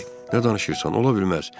O dedi: Nə danışırsan, ola bilməz.